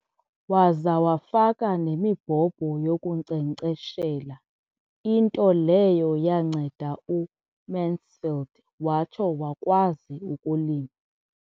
Waza wafaka nemibhobho yokunkcenkceshela, into leyo yanceda uMansfield watsho wakwazi ukulima.